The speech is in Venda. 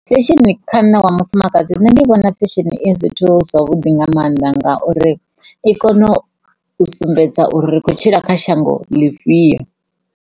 Fesheni kha nṋe wa mufumakadzi ndi vhona hu zwithu zwa vhuḓi nga mannḓa ngauri i kona u sumbedza uri ri kho tshila kha shango ḽifhio.